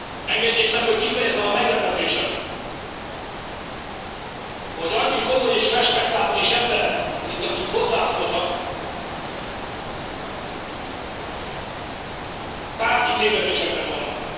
Engedjék meg, hogy kifejezzem a meglepetésemet, hogy annyi komoly és respektábilis ember, mint akik hozzászóltak, tárgyi tévedésekben vannak.